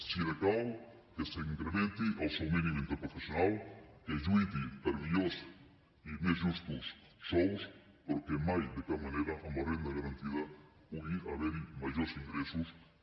si decau que s’incrementi el sou mínim interprofessional que es lluiti per millors i més justos sous però que mai de cap manera amb la renda garantida pugui haver hi majors ingressos que